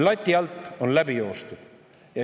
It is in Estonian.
Lati alt on läbi joostud.